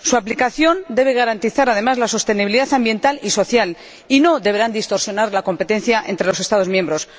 Su aplicación debe garantizar además la sostenibilidad ambiental y social, y no deberá distorsionar la competencia entre los Estados miembros.